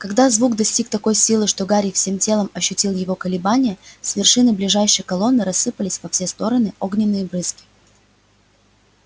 когда звук достиг такой силы что гарри всем телом ощутил его колебания с вершины ближайшей колонны рассыпались во все стороны огненные брызги